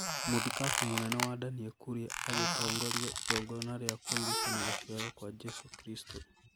Mũthikabu mũnene wa Danie Kuria agĩtongoria igongona rĩa kũririkana gũciarwo kwa Jesu Kristo